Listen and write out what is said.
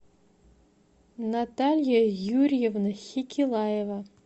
наталья юрьевна хекилаева